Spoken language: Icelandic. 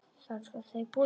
Hef heyrt orð þín áður.